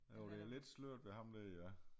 Jo det er lidt sløret ved ham der ja